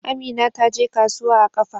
Amina ta je kasuwa a ƙafa.